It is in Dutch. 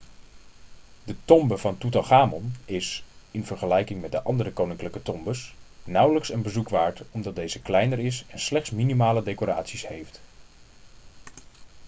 de tombe van toetanchamon is in vergelijking met de andere koninklijke tombes nauwelijks een bezoek waard omdat deze kleiner is en slechts minimale decoraties heeft